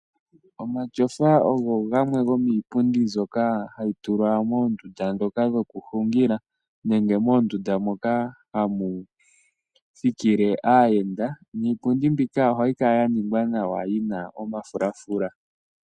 Omatyofa ogo gamwe gomiipundi mbyoka hayi tulwa moondunda ndhoka dhokuhungila nenge moondunda moka hamu thikile aayenda niipundi mbika ohayi kala ya ningwa nawa yi na omafulafula.